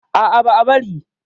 A'a, ba'a bari.